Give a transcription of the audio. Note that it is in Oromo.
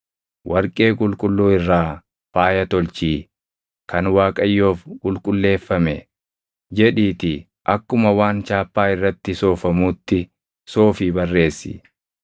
“Warqee qulqulluu irraa faaya tolchii, Kan Waaqayyoof Qulqulleeffame, jedhiitii akkuma waan chaappaa irratti soofamuutti soofii barreessi.